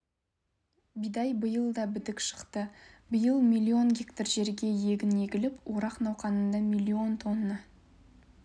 бидай биыл да бітік шықты биыл млн гектар жерге егін егіліп орақ науқанында млн тонна